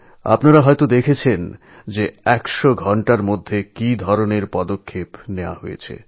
আপনারা দেখেছেন যে সন্ত্রাসের ১০০ ঘণ্টার ভিতরেই কীরকম পদক্ষেপ নেওয়া হয়েছে